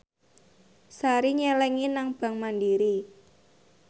Sari nyelengi nang bank mandiri